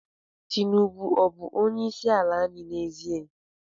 Tinubu ọ bụ onyeisiala anyị n'ezie?